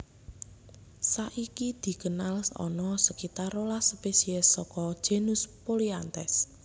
Sakiki dikenal ana sekitar rolas spesies saka genus Polianthes